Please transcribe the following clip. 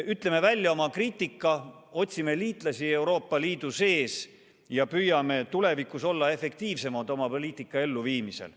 Ütleme välja oma kriitika, otsime liitlasi Euroopa Liidu sees ja püüame tulevikus olla efektiivsemad oma poliitika elluviimisel.